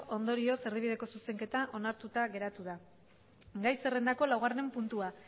ondorioz erdibideko zuzenketa onartuta geratu da gai zerrendako laugarren puntua